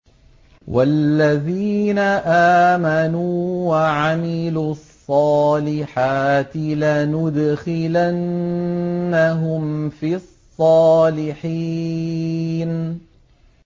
وَالَّذِينَ آمَنُوا وَعَمِلُوا الصَّالِحَاتِ لَنُدْخِلَنَّهُمْ فِي الصَّالِحِينَ